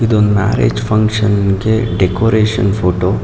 ಇದೊಂದು marriage functions ಗೆ decoration photo .